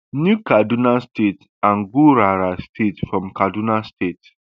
new kaduna state and gurara state from kaduna state